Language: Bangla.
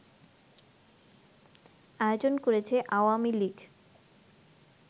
আয়োজন করেছে আওয়ামী লীগ